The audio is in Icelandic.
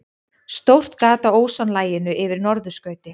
Stórt gat á ósonlaginu yfir norðurskauti